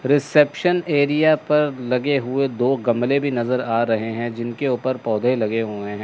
Reception area पर लगे हुए दो गमले भी नजर आ रहे हैं जिनके ऊपर पौधे लगे हुए हैं।